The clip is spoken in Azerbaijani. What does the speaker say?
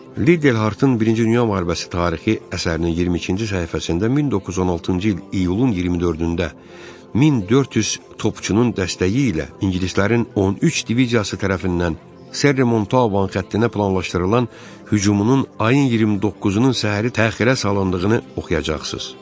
Lid Hartın birinci dünya müharibəsi tarixi əsərinin 22-ci səhifəsində 1916-cı il iyulun 24-də 1400 topçunun dəstəyi ilə ingilislərin 13 diviziyası tərəfindən Serremontvan xəttinə planlaşdırılan hücumunun ayın 29-unun səhəri təxirə salındığını oxuyacaqsız.